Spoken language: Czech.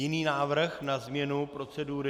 Jiný návrh na změnu procedury?